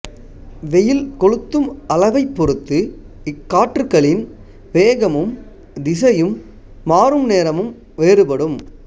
வெயில் கொளுத்தும் அளவைப் பொறுத்து இக்காற்றுக்களின் வேகமும் திசையும் மாறும் நேரமும் வேறுபடும்